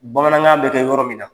Bamanankan bɛ kɛ yɔrɔ min na.